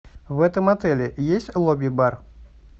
в этом отеле есть лобби бар